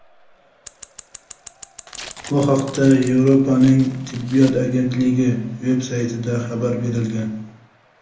Bu haqda Yevropaning tibbiyot agentligi veb-saytida xabar berilgan.